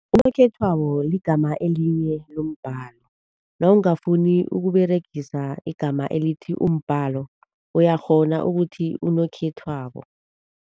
Unokhethwabo ligama elinye lombalo. Nawungafuni ukuberegisa igama elithi umbalo uyakghona ukuthi unokhethwabo.